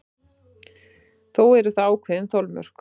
Þó eru þar ákveðin þolmörk.